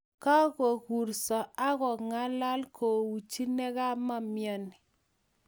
kakurso akongalal kouchi ne kamaimyani